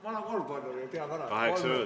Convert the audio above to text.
Kaheksa minutit, palun!